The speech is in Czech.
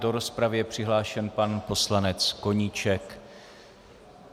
Do rozpravy je přihlášen pan poslanec Koníček.